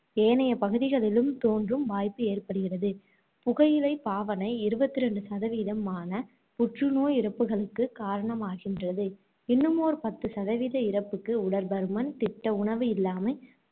ஏனைய பகுதிகளிலும் தோன்றும் வாய்ப்பு ஏற்படுகின்றது. புகையிலை பாவனை இருபத்து இரண்டு சதவீதமான புற்று நோய் இறப்புகளுக்குக் காரணமாகின்றது. இன்னுமொரு பத்து சதவீத இறப்புக்கு உடற் பருமன், திட்ட உணவு இல்லாமை.